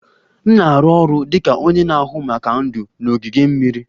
M na-arụ ọrụ dị ka onye na-ahụ maka ndụ n'ogige mmiri